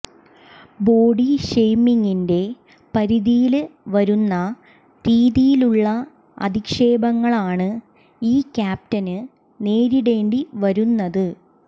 body ഷെയ്മിങ്ങിന്റെ പരിധിയില് വരുന്ന രീതിയിലുള്ള അധിക്ഷേപങ്ങളാണ് ഈ ക്യാപ്റ്റന് നേരിടേണ്ടി വരുന്നത്